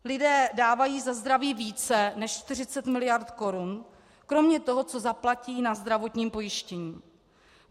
Lidé dávají za zdraví více než 40 mld. korun kromě toho, co zaplatí na zdravotním pojištění.